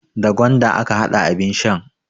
Da gwanda aka hada abin shan.